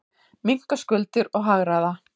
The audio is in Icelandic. Minnka skuldir og hagræða.